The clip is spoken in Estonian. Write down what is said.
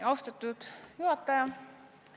Austatud juhataja!